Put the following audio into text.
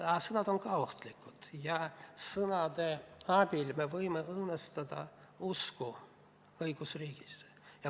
Aga sõnad on ka ohtlikud ja sõnade abil me võime õõnestada usku õigusriigist.